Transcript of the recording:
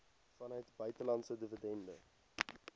vanuit buitelandse dividende